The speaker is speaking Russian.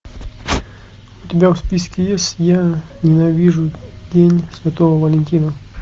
у тебя в списке есть я ненавижу день святого валентина